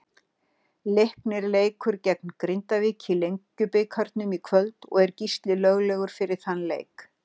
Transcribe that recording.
Leiknir leikur gegn Grindavík í Lengjubikarnum í kvöld og er Gísli löglegur fyrir þann leik.